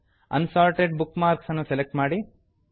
assorted bookmarks ಅನ್ನು select ಮಾಡಿ